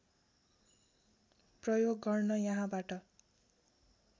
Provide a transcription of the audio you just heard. प्रयोग गर्न यहाँबाट